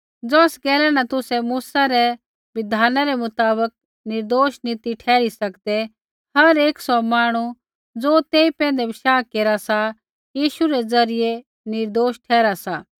ज़ौस गैला न तुसै मूसै रै बिधाना रै मुताबक निर्दोष नी ती ठहरी सकदै हर एक सौ मांहणु ज़ो तेई पैंधै बशाह केरा सा यीशु रै ज़रियै निर्दोष ठहरा सा